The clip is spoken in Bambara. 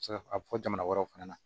Se ka a bɛ fɔ jamana wɛrɛw fana na